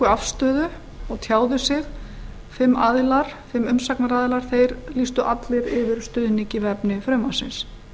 afstöðu og tjáðu sig þeir fimm umsagnaraðilar lýstu allir yfir stuðningi við efni frumvarpsins